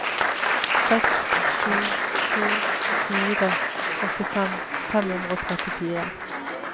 seks sju to fire åttifem fem hundre og trettifire